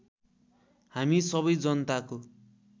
हामी सबै जनताको